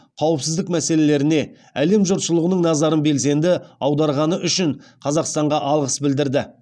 қауіпсіздік мәселелеріне әлем жұртшылығының назарын белсенді аударғаны үшін қазақстанға алғыс білдірді